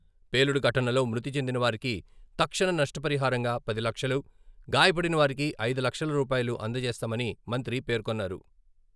పేలుడు ఘటనలో మృతి చెందిన వారికి తక్షణ నష్ట పరిహారంగా పది లక్షలు, గాయపడిన వారికి ఐదు లక్షల రూపాయలు అందజేస్తామని మంత్రి పేర్కొన్నారు.